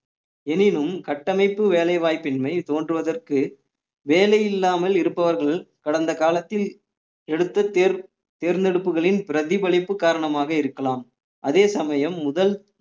எனினும் கட்டமைப்பு வேலைவாய்ப்பின்மை தோன்றுவதற்கு வேலை இல்லாமல் இருப்பவர்கள் கடந்த காலத்தில் எடுத்த தேர்~ தேர்ந்தெடுப்புகளின் பிரதிபலிப்பு காரணமாக இருக்கலாம் அதே சமயம் முதல்